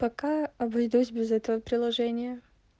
пока обойдусь без этого приложения